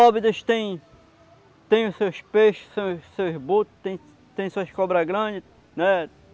Óbidos tem... Tem os seus peixes, os seus os seus botos, tem suas cobras grandes, né?